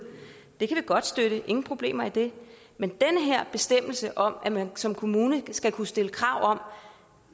det kan vi godt støtte ingen problemer i det men den her bestemmelse om at man som kommune skal kunne stille krav om